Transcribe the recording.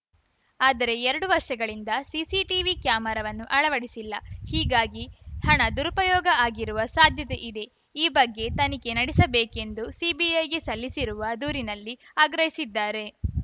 ಆದರೆ ಎರಡು ವರ್ಷಗಳಿಂದ ಸಿಸಿ ಟಿವಿ ಕ್ಯಾಮೆರಾವನ್ನು ಅಳವಡಿಸಿಲ್ಲ ಹೀಗಾಗಿ ಹಣ ದುರುಪಯೋಗ ಆಗಿರುವ ಸಾಧ್ಯತೆ ಇದೆ ಈ ಬಗ್ಗೆ ತನಿಖೆ ನಡೆಸಬೇಕೆಂದು ಸಿಬಿಐಗೆ ಸಲ್ಲಿಸಿರುವ ದೂರಿನಲ್ಲಿ ಆಗ್ರಹಿಸಿದ್ದಾರೆ